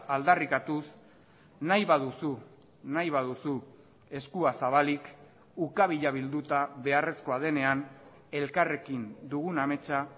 aldarrikatuz nahi baduzu nahi baduzu eskua zabalik ukabila bilduta beharrezkoa denean elkarrekin dugun ametsa